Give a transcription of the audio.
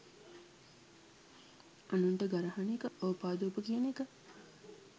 අනුන්ට ගරහන එක ඕපාදූප කියන එක